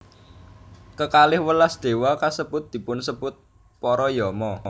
Kekalih welas déwa kasebut dipunsebut para Yama